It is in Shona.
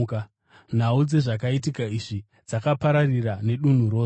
Nhau dzezvakaitika izvi, dzakapararira nedunhu rose.